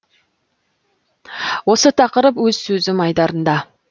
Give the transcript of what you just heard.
осы тақырып өз сөзім айдарында